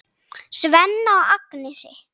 Svenna og Agnesi.